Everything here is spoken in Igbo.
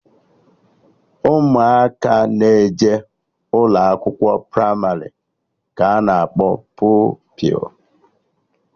Ụmụaka na-eje ụlọakwụkwọ pramarị ka anọ akpọ Pupilụ